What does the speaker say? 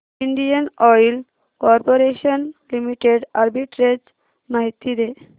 Indian Oil Corporation Limited arbitrage माहिती दे